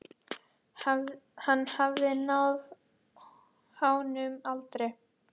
Hann hafði náð háum aldri.